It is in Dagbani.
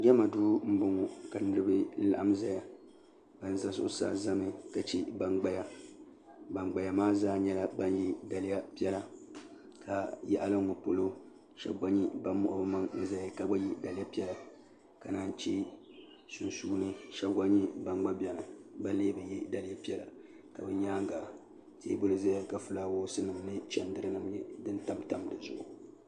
jama do bɔŋɔ ka niriba laɣim ʒɛya ban za zuɣ saa zami ka chɛ ban gbaya gbaya maa zaa yɛla daliya piɛla ka yagili n ŋɔ polo shɛb ban moɣ' be maŋ zaya ka yɛ daliya piɛla ka yi chɛ sunsuuni shɛbi gba bɛni be lɛɛ be yɛ daliya piɛla ka bɛ nyɛŋa tɛbuli zaya ka chɛndirinim tamtam di zuɣ